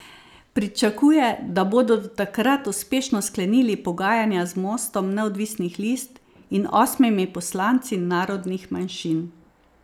Pričakuje, da bodo do takrat uspešno sklenili pogajanja z Mostom neodvisnih list in osmimi poslanci narodnih manjšin.